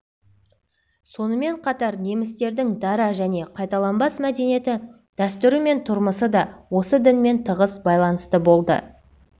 сонымен қатар немістердің дара және қайталанбас мәдениеті дәстүрі мен тұрмысы да осы дінмен тығыз байланысты болды